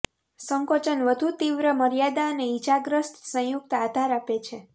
સંકોચન વધુ તીવ્ર મર્યાદા અને ઇજાગ્રસ્ત સંયુક્ત આધાર આપે છે